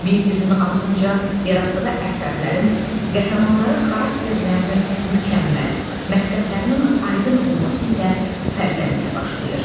Bir-birinin ardınca yaratdığı əsərlərin qəhrəmanları xarakterlərinin mükəmməl, məqsədlərinin aydın olması ilə fərqlənməyə başlayır.